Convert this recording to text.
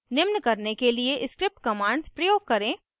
निम्न करने के लिए script commands प्रयोग करें